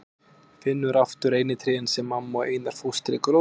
Finnur aftur reynitrén sem mamma og Einar fóstri gróðursettu.